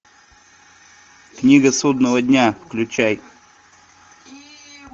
книга судного дня включай